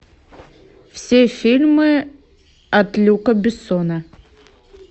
все фильмы от люка бессона